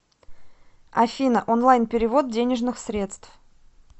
афина онлайн перевод денежных средств